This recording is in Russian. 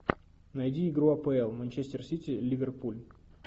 найди игру апл манчестер сити ливерпуль